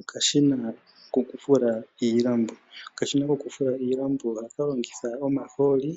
Okashina kokufula iilambo. Okashina kokufula iilambo ohaka longitha omahooli